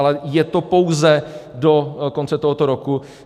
Ale je to pouze do konce tohoto roku.